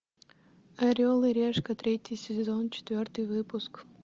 орел и решка третий сезон четвертый выпуск